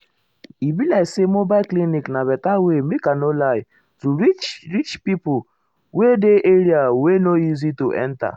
e be like say mobile clinic na better way make i no lie to reach reach pipo wey dey area wey no um easy to enta.